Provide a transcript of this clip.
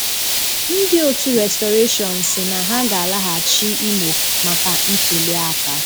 Ndị 'Òtù Restoration' si na ha ga alaghachị Imo maka ntụlịaka